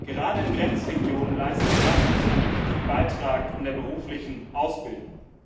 Gerade in Grenzregionen leistet Erasmus einen wichtigen Beitrag zur beruflichen Ausbildung.